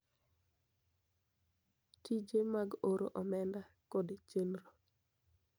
Tije mag oro omenda, kod chenro